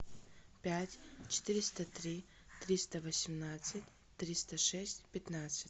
пять четыреста три триста восемнадцать триста шесть пятнадцать